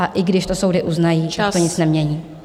A i když to soudy uznají, tak to nic nemění.